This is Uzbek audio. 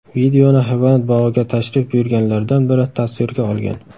Videoni hayvonot bog‘iga tashrif buyurganlardan biri tasvirga olgan.